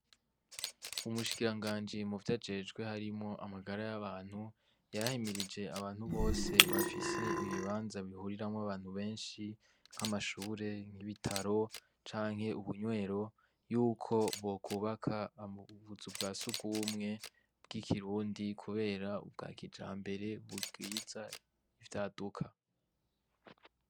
Umushikiranganji mu vyo ajejwe harimo amagara y'abantu yahemirije abantu bose bafise ibibanza bihuriramwo abantu benshi nk'amashure nk'ibitaro canke ubunywero yuko bokubaka amubuza ubwa si ugumwe bw' ikirundi, kubera ubwa kijahme mbere burwiza ivyaduka.